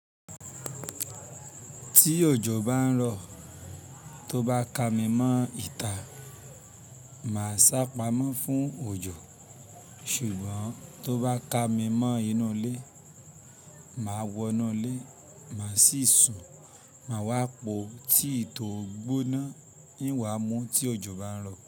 Tí òjò bá ń rọ̀, tó bá ka mi mọ́ ìta, màá ṣá pamọ́ fún òjò. Ṣùgbọ́n tó bá ka mi mọ́ inú ilé, màá wọnú ilé, màá sì sùn, màá wá po ti ìtò ó gbóná, ìn wá mú tí òjò bá ń rọ̀.